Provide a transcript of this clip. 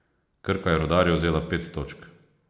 Krka je Rudarju vzela pet točk.